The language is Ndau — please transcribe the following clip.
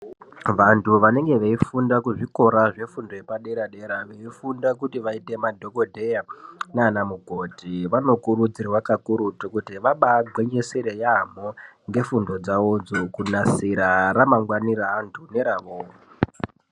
Vantu vanenge veifunda kuzvikora zvefundo yepadera-dera veifunda kuti vazoita madhogodheya naana mukoti vanokurudzirwa kakurutu kuti vabaagwinyisire yaambo ngefundo dzavodzo kunasira ramangwani reantu neravo.